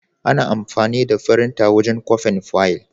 Ana amfani da firinta wajen kwafin fayil.